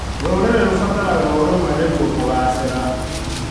Rũrĩrĩ rũbataraga ũrũmwe nĩguo kũgacĩĩra.